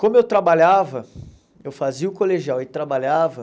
Como eu trabalhava, eu fazia o colegial e trabalhava.